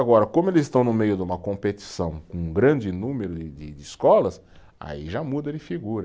Agora, como eles estão no meio de uma competição com um grande número de de, de escolas, aí já muda de figura.